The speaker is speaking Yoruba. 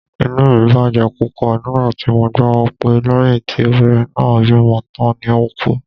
Inú mi bàjẹ́ púpọ̀ nígbà tí mo gbọ́ pé lẹ́yìn tí obìnrin náà bímọ tán ni ó ku